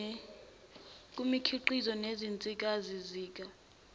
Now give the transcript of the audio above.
kumikhiqizo nezinsizakalo zika